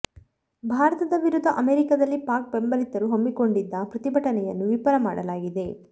ಭಾರತದ ವಿರುದ್ಧ ಅಮೆರಿಕದಲ್ಲಿ ಪಾಕ್ ಬೆಂಬಲಿತರು ಹಮ್ಮಿಕೊಂಡಿದ್ದ ಪ್ರತಿಭಟನೆಯನ್ನು ವಿಫಲ ಮಾಡಲಾಗಿದೆ